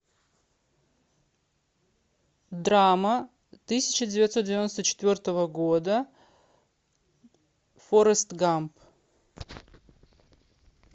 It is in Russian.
драма тысяча девятьсот девяносто четвертого года форрест гамп